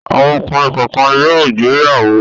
Àwọn ọkùnrin kọ̀ọ̀kan yóò gbéyàwó.